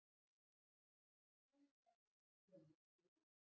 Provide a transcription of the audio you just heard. Svona gætu ofsjónir litið út.